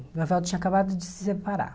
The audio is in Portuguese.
O Evaldo tinha acabado de se separar.